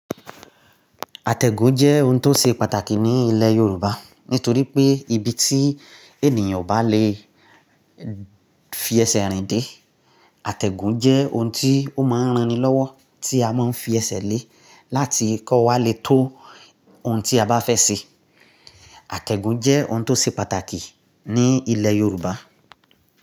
Àtẹ̀gùn jẹ́ ohun tó ṣe pàtàkì ní ilẹ̀ Yorùbá, nítorí pé ibi tí ènìyàn ò bá lè fi ẹsẹ̀ rìn dé, àtẹ̀gùn jẹ́ ohun tí ó máa ń ran ni lọ́wọ́ tí a máa ń fi ẹsẹ̀ lé láti kó wa lè tó ohun tí a bá fẹ́ ṣe. Àtẹ̀gùn jẹ́ ohun tó ṣe pàtàkì ní ilẹ̀ Yorùbá.